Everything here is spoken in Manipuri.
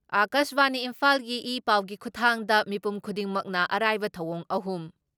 ꯑꯀꯥꯁꯕꯥꯅꯤ ꯏꯝꯐꯥꯜꯒꯤ ꯏ ꯄꯥꯎꯒꯤ ꯈꯨꯊꯥꯡꯗ ꯃꯤꯄꯨꯝ ꯈꯨꯗꯤꯡꯃꯛꯅ ꯑꯔꯥꯏꯕ ꯊꯧꯑꯣꯡ ꯑꯍꯨꯝ